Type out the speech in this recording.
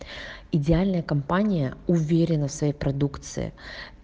идеальная компания уверенна в своей продукции